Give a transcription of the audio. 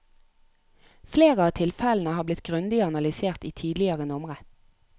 Flere av tilfellene har blitt grundig analysert i tidligere numre.